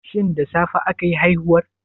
Shin da safe akayi haihuwar?